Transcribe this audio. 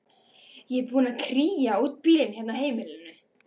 Ég er búin að kría út bílinn hérna á heimilinu.